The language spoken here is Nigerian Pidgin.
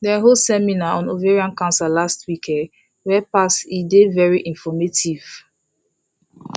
dem hold seminar on ovarian cancer last week um wey pass e dey very informative